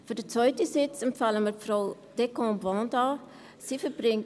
Für den zweiten Sitz empfehlen wir Frau Vanda Descombes.